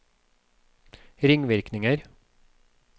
ringvirkninger